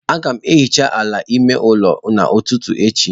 Aga m ehicha ala ime ụlọ n'ụtụtụ echi.